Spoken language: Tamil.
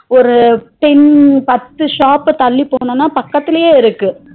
ஒரு ten பத்து shop தள்ளி போனோம்னா பக்கத்துலையே இருக்கு